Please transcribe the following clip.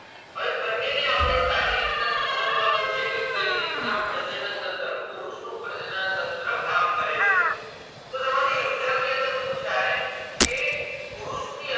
પણ બને ને આપણે સારી રીતે સમજવાનું છે કે કઈ રીતે પ્રજનનતંત્ર પુરુષ નું પ્રજનનતંત્ર કામ કરે છે તો તમારી exam ની અંદર પુછાય કે પુરુષ ની અંદર